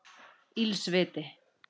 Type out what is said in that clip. Ills viti